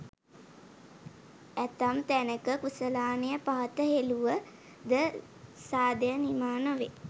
ඇතැම් තැනෙක කුසලානය පහත හෙලුව ද සාදය නිමා නොවෙයි.